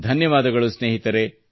ಧನ್ಯವಾದಗಳು ಸ್ನೇಹಿತರೇ